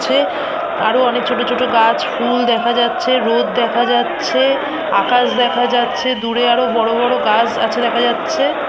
আছে আরো অনেক ছোট ছোট গাছ ফুল দেখা যাচ্ছে রোদ দেখা যাচ্ছে আকাশ দেখা যাচ্ছে দূরে আরো বড় বড় গাছ আছে দেখা যাচ্ছে।